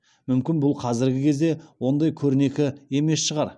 мүмкін бұл қазіргі кезде ондай көрнекі емес шығар